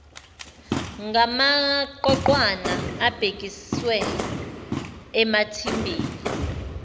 ngamaqoqwana abhekiswe emathimbeni